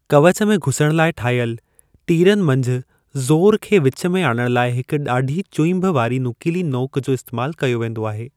कवच में घुसण लाइ ठाहियल, तीरनि मंझि ज़ोर खे विच में आणणु लाइ हिक ॾाढी चुईंभ वारी ऐं नुकीली नोक जो इस्तेमालु कयो वेंदो आहे।